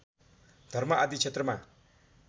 धर्म आदि क्षेत्रमा